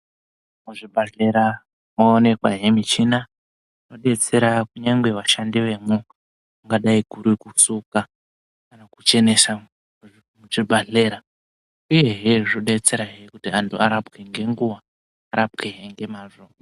Muzvibhadhlera moonekwahe michina inobetsera kunyangwe vashandi vemwo. Kungadai kurikusuka kana kuchenesa muchibhadhlera, uyehe zvobetserahe kuti antu arapwe ngenguva arapwehe ngemazvo.